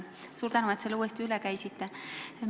Suur tänu, et selle uuesti üle käisite!